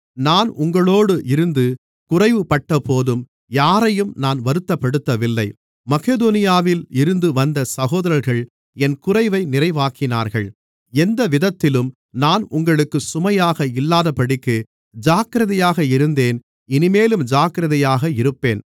நான் உங்களோடு இருந்து குறைவுபட்டபோதும் யாரையும் நான் வருத்தப்படுத்தவில்லை மக்கெதோனியாவில் இருந்து வந்த சகோதரர்கள் என் குறைவை நிறைவாக்கினார்கள் எந்தவிதத்திலும் நான் உங்களுக்குச் சுமையாக இல்லாதபடிக்கு ஜாக்கிரதையாக இருந்தேன் இனிமேலும் ஜாக்கிரதையாக இருப்பேன்